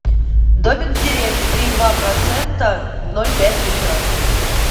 домик в деревне три и два процента ноль пять литра